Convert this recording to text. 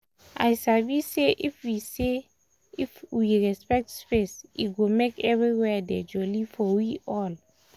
i sabi say if we say if we respect space e go make everywhere dey jolly for we all